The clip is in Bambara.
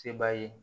Se b'a ye